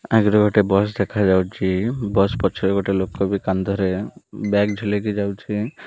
ଆଗରେ ଗୋଟେ ବସ ଦେଖାଯାଉଚି। ବସ ପଛରେ ଗୋଟେ ଲୋକ ବି କନ୍ଦରେ ବ୍ୟଗ ଝୁଲେଇକି ଯାଉଛି।